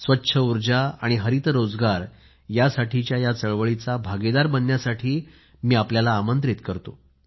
स्वच्छ उर्जा आणि हरित रोजगार यासाठीच्या या चळवळीचा भागीदार बनण्यासाठी मी आपल्याला निमंत्रित करतो